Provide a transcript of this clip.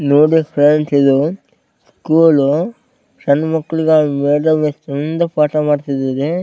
ನೋಡಿ ಫ್ರೆಂಡ್ಸ್ ಇದು ಸ್ಕೂಲ್ ಸಣ್ಣ ಮ್ಯಾಕ್ಲಿಗೆ ಮೇಡಂ ಎಷ್ಟ್ ಚಂದ ಪಾಠ ಮಾಡ್ತಿದ್ದಾರೆ .